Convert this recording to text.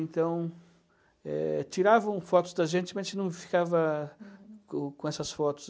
Então, eh, tiravam fotos da gente, mas a gente não ficava com com essas fotos.